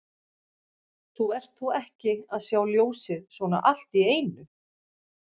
Þú ert þó ekki að sjá ljósið svona allt í einu?